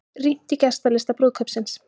Rýnt í gestalista brúðkaupsins